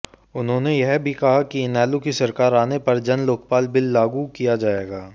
उन्होंने यह भी कहा कि इनेलो की सरकार आने पर जनलोकपाल बिल लागू किया जायेगा